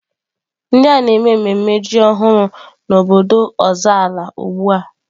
Ndị a na-eme mmemme ji ọhụrụ n'obodo Ozalla ugbu a.